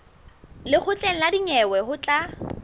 lekgotleng la dinyewe ho tla